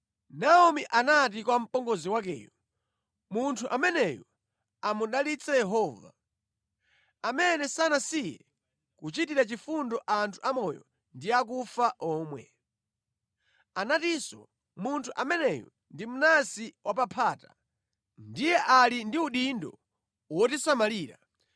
Naomi anati kwa mpongozi wakeyo, “Munthu ameneyu amudalitse Yehova, amene sanasiye kuchitira chifundo anthu amoyo ndi akufa omwe. Anatinso munthu ameneyu ndi mnansi wapaphata. Ndiye ali ndi udindo wotisamalira.”